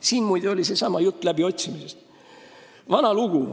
Siin oli juttu läbiotsimisest.